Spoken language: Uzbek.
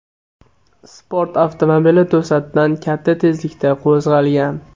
Sport avtomobili to‘satdan katta tezlikda qo‘zg‘algan.